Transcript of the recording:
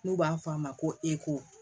N'u b'a fɔ a ma ko eko